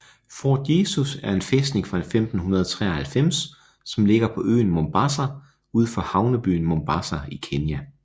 Fort Jesus er en fæstning fra 1593 som ligger på øen Mombasa ud for havnebyen Mombasa i Kenya